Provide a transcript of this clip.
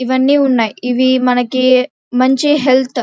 ఇవి అన్నీ ఉన్నాయి ఇవి మనకి మంచి హెల్త్ --